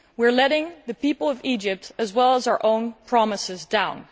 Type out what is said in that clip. We are letting the people of Egypt as well as our own promises down.